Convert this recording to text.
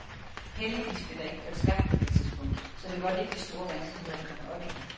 Heldigvis blev der ikke kørt stærkt på det tidspunkt, så det voldte ikke de store vanskeligheder at komme op igen.